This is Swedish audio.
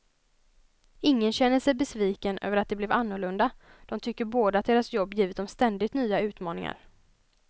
Ingen känner sig besviken över att det blev annorlunda, de tycker båda att deras jobb givit dem ständigt nya utmaningar.